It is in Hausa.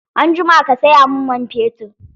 Anjima ka saya mun man fetur!